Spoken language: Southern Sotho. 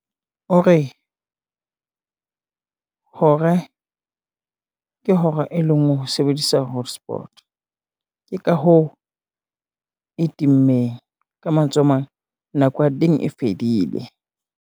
Ore hore, ke hora e lengwe ho sebedisa hotspot, ke ka hoo e timmeng. Ka mantswe a mang nako ya teng e fedile.